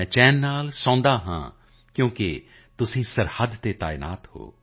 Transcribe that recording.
ਮੈਂ ਚੈਨ ਸੇ ਸੋਤਾ ਹੂੰ ਕਿਉਂਕਿ ਤੁਮ ਸਰਹੱਦ ਪਰ ਤਾਇਨਾਤ ਹੋ